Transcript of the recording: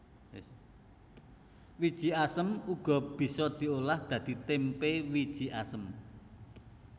Wiji asem uga bisa diolah dadi témpé wiji asem